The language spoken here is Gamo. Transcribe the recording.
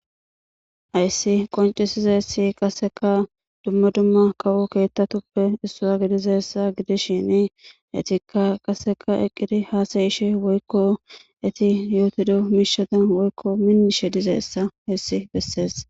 Ayssi qoncisiza he Issi qassika dumma dumma kawu keettatuppe issuwa gidiza issa gidishin etikka qasseka eqqidi haasayishin woykko eti yootido miishata woykko minnishe diza issa he issi bessees.